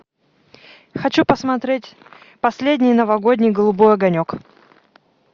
хочу посмотреть последний новогодний голубой огонек